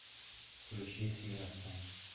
включи синапсон